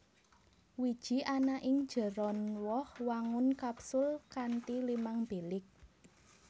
Wiji ana ing njeron woh wangun kapsul kanthi limang bilik